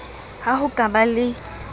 ha ho ka ba le